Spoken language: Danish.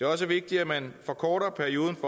også vigtigt at man forkorter perioden